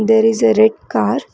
there is a red car.